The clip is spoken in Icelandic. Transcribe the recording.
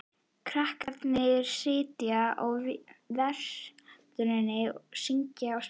Krakkarnir sitja á veröndinni, syngja og spjalla.